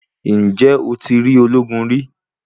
Ǹjẹ́ o ti rí ológun rí?